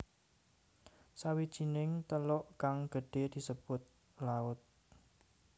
Sawijining teluk kang gedhe disebut laut